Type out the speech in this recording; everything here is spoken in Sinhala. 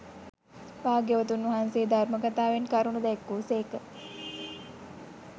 භාග්‍යවතුන් වහන්සේ ධර්ම කථාවෙන් කරුණු දැක්වූ සේක